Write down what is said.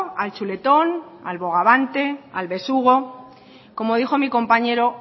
al chuletón al bogavante al besugo como dijo mi compañero